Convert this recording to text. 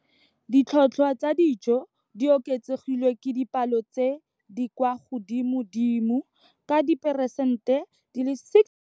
Ditlhotlhwa tsa dijo di oketsegile ka dipalo tse di kwa godimodimo ka diperesente di le 6.2.